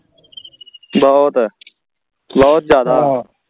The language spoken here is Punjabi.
ਬਹੁਤ ਬਹੁਤ ਜਿਆਦਾ